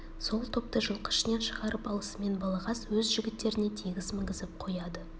сол топты жылқы ішінен шығарып алысымен балағаз өз жігіттеріне тегіс мінгізіп қояды